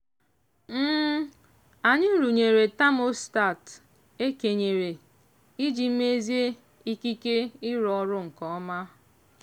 anyị rụnyere tamostat e kenyere iji mezie ikike ịrụ ọrụ nke ọma.